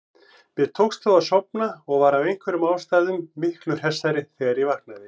Mér tókst þó að sofna og var af einhverjum ástæðum miklu hressari þegar ég vaknaði.